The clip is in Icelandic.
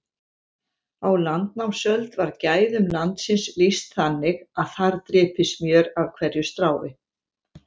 Á landnámsöld var gæðum landsins lýst þannig að þar drypi smjör af hverju strái.